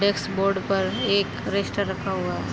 Dashboard पर एक register रखा हुआ है।